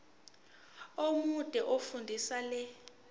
omude fundisisa le